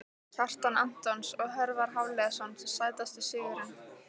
Kjartan Antons og Hjörvar Hafliðason Sætasti sigurinn?